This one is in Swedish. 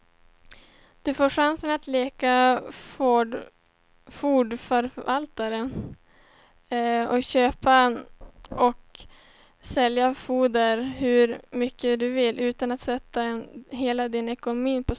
Du får chansen att leka fondförvaltare och köpa och sälja fonder hur mycket du vill, utan att sätta hela din ekonomi på spel.